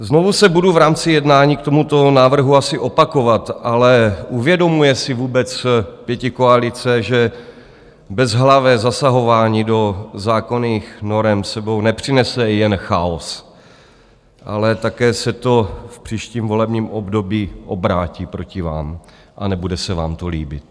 Znovu se budu v rámci jednání k tomuto návrhu asi opakovat, ale uvědomuje si vůbec pětikoalice, že bezhlavé zasahování do zákonných norem s sebou nepřinese jen chaos, ale také se to v příštím volebním období obrátí proti vám a nebude se vám to líbit?